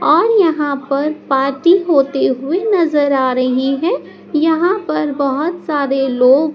और यहां पर पार्टी होते हुए नजर आ रही है यहां पर बहोत सारे लोग--